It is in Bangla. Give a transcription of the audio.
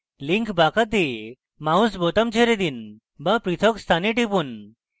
link বাঁকাতে mouse বোতাম ছেড়ে দিন to পৃথক স্থানে টিপুন